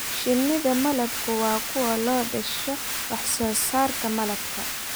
Shinnida malabku waa kuwa loo dhasho wax soo saarka malabka.